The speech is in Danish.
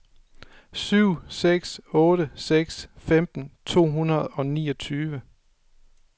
syv seks otte seks femten to hundrede og niogtyve